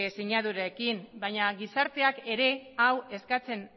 sinadurekin baina gizarteak ere hau eskatzen